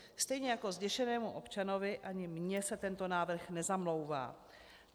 Stejně jako zděšenému občanovi, ani mně se tento návrh nezamlouvá.